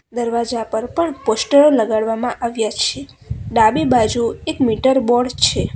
દરવાજા પર પણ પોસ્ટરો લગાડવામાં આવ્યા છે ડાબી બાજુ એક મીટર બોર્ડ છે.